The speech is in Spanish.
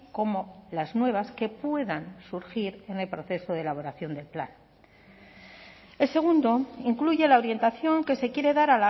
como las nuevas que puedan surgir en el proceso de elaboración del plan el segundo incluye la orientación que se quiere dar